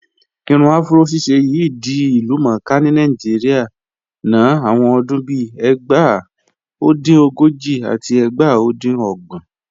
Irun afúró ṣíṣẹ̀ yìí di ilúmọ̀ọ́kà ni Naijíríà nọ̀ awọn ọdún bíì ẹgbá. O dín ogojì àti ẹgbá o dín ogbọn